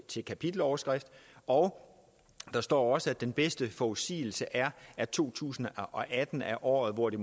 til kapiteloverskrift og der står også at den bedste forudsigelse er at to tusind og atten er året hvor det